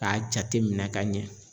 K'a jateminɛ ka ɲɛ